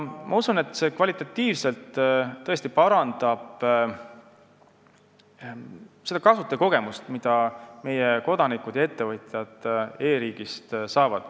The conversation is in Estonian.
Ma usun, et see tõesti parandab kvalitatiivselt seda kasutajakogemust, mida meie kodanikud ja ettevõtjad e-riigist saavad.